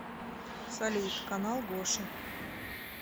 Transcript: салют канал гоши